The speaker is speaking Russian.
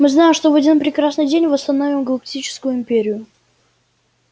мы знаем что в один прекрасный день восстановим галактическую империю